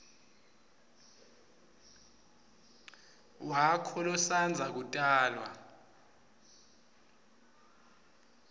wakho losandza kutalwa